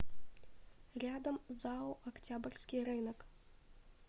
рядом зао октябрьский рынок